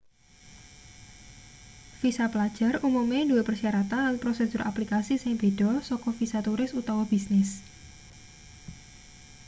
visa pelajar umume duwe persyaratan lan prosedur aplikasi sing beda saka visa turis utawa bisnis